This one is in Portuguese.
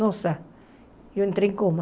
Nossa, eu entrei em coma.